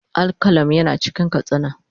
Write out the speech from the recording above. Al-qalam yana cikin katsina